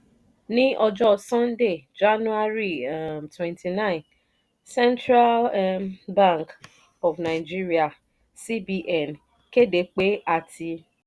ní ọjọ́ sunday january um twenty nine central um bank of nigeria (cbn) kéde pé a ti